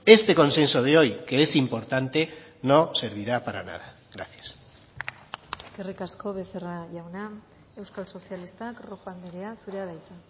este consenso de hoy que es importante no servirá para nada gracias eskerrik asko becerra jauna euskal sozialistak rojo andrea zurea da hitza